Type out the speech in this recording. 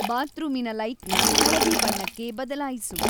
ಬಾತ್ರೂಮಿನ ಲೈಟ್‌ನ ಹಳದಿ ಬಣ್ಣಕ್ಕೆ ಬದಲಾಯಿಸು